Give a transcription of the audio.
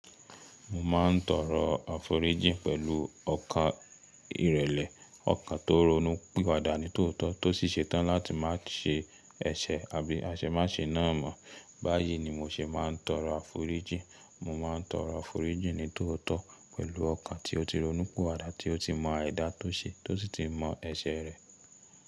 Mo ma ń tọrọ aforíjì pẹ̀lú ọkàn ìrẹ̀lẹ̀, ọkàn tó ronú pìwàadà ní tòótọ́ tó sì ṣe tán láti má ṣe ẹṣẹ̀. Àbí aṣe má ṣe ná mọ́. Báyìí ni mo ṣe máa ń tọrọ aforíjì. Mo máa ń tọrọ aforíjì ní tòótọ́ pẹ̀lú ọkàn tí ó ti ronú pìwàadà, tí ó ti mọ aidá tó ṣe, tó sí ti mọ ẹṣẹ̀ rẹ̀.